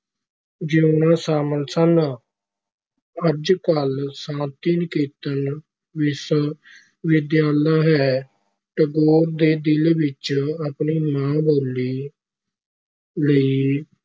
ਜੀਉਣਾ ਸ਼ਾਮਲ ਸਨ ਅੱਜ-ਕਲ੍ਹ ਸ਼ਾਂਤੀ ਨਿਕੇਤਨ ਵਿਸ਼ਵ ਵਿਦਿਆਲਾ ਹੈ, ਟੈਗੋਰ ਦੇ ਦਿਲ ਵਿਚ ਆਪਣੀ ਮਾਂ-ਬੋਲੀ ਲਈ